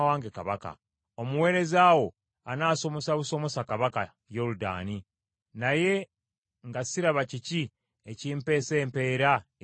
Omuweereza wo anasomosa busomosa kabaka, Yoludaani, naye nga siraba kiki enkimpeesa empeera eyenkana awo.